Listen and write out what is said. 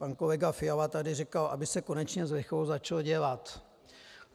Pan kolega Fiala tady říkal, aby se konečně s lichvou začalo dělat.